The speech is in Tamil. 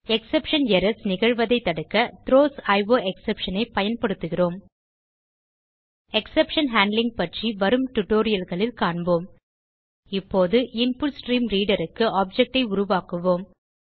எக்ஸெப்ஷன் எரர்ஸ் நிகழ்வதை தடுக்க த்ரோஸ் அயோஎக்ஸ்செப்ஷன் ஐ பயன்படுத்துகிறோம் எக்ஸெப்ஷன் ஹேண்ட்லிங் பற்றி வரும் டியூட்டோரியல் களில் காண்போம் இப்போது InputStreamReaderக்கு ஆப்ஜெக்ட் ஐ உருவாக்குவோம்